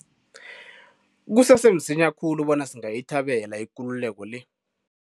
Kusese msinya khulu bona singayithabela ikululeko le.